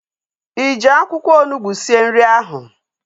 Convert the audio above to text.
Ị ji akwụkwọ onugbu sie nri ahu?